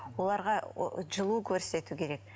оларға жылу көрсету керек